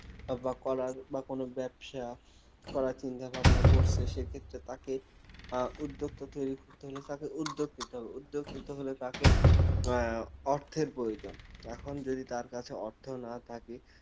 বা করার বা কোনও ব্যবসা করার চিন্তা ভাবনা করছে সেক্ষেত্রে তাকে আহ উদ্যোক্তা তৈরী করতে হলে তাকে উদ্যোগ নিতে হবে উদ্যোগ নিতে হলে তাকে আহ অর্থের প্রয়জোন এখন যদি তার কাছে অর্থ না থাকে